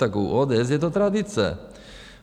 Tak u ODS je to tradice.